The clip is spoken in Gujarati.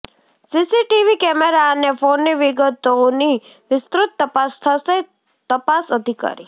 સીસીટીવી કેમેરા અને ફોનની વિગતોની વિસ્તૃત તપાસ થશેઃ તપાસ અધિકારી